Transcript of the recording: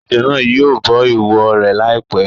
Ejò náà yìí bọ ìwọ rẹ lai pẹ̀.